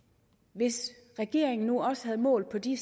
hvis regeringen nu også havde målt på de